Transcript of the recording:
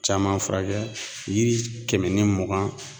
Caman furakɛ yiri kɛmɛ ni mugan